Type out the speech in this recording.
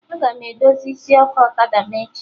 Aga m edozi isi ọkụ ọkada m echi